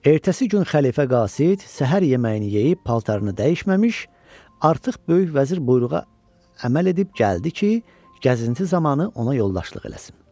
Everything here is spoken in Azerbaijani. Ertəsi gün xəlifə Qasid səhər yeməyini yeyib paltarını dəyişməmiş, artıq böyük vəzir buyruğa əməl edib gəldi ki, gəzinti zamanı ona yoldaşlıq eləsin.